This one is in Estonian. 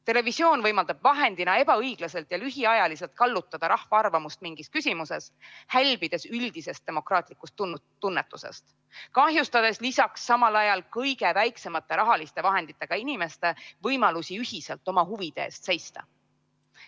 Televisioon võimaldab vahendina ebaõiglaselt ja lühiajaliselt kallutada rahva arvamust mingis küsimuses, hälbides üldisest demokraatlikust tunnetusest ja kahjustades lisaks samal ajal kõige väiksemate rahaliste vahenditega inimeste võimalusi ühiselt oma huvide eest seista.